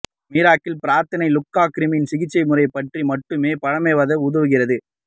miracle பிரார்த்தனை லூக்கா கிரிமியன் சிகிச்சைமுறை பற்றி மட்டுமே பழமைவாத உதவுகிறது